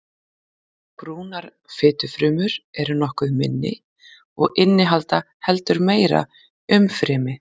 Brúnar fitufrumur eru nokkuð minni og innihalda heldur meira umfrymi.